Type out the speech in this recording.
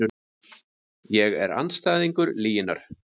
Ég er andstæðingur lyginnar.